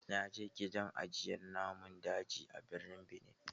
Na je gidan ajiye namun daji a birnin Benin.